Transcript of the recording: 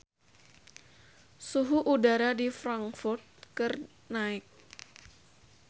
Suhu udara di Frankfurt keur naek